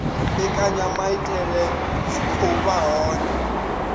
mbekanyamaitele dzi khou vha hone